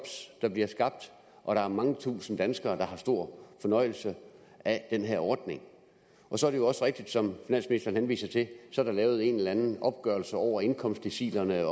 der bliver skabt og der er mange tusinde danskere der har stor fornøjelse af den her ordning så er det rigtigt som finansministeren henviser til at der er lavet en eller anden opgørelse over indkomstdecilerne